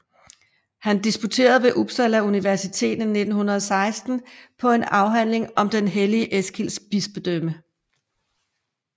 Han disputerede ved Uppsala universitet 1916 på en afhandling om den hellige Eskils bispedømme